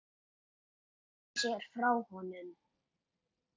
Hún sneri sér frá honum.